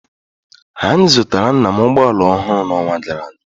Anyị zụtara nna m ụgbọ ala ọhụrụ n'ọnwa gara aga